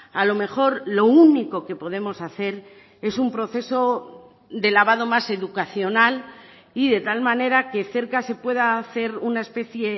a lo mejor lo único que podemos hacer es un proceso de lavado más educacional y de tal manera que cerca se pueda hacer una especie